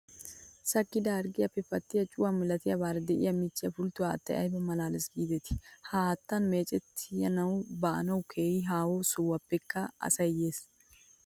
Sakkida harggiyaappe pattiyaa cuwaa malatiyaabaara diyaa michchiyaa pultto haattayi ayiba malaales giideti! Ha haattan meecetti baanawu keehi haaho sohuwaappekka asayi yes.